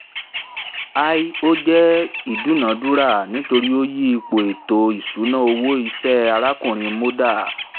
i ó jẹ̀ ìdúnadúrà nítorí ó yí ipò ètò ìṣúná owó iṣẹ́ arákùnrin mondal